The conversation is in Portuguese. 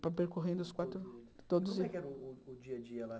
Per percorrendo os quatro... E como é que era o dia a dia lá?